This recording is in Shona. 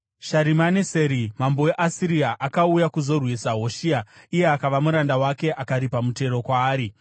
Sharimaneseri mambo weAsiria akauya kuzorwisa Hoshea, iye akava muranda wake akaripa mutero kwaari.